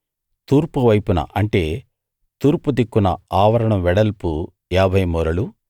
తూర్పు వైపున అంటే తూర్పు దిక్కున ఆవరణం వెడల్పు ఏభై మూరలు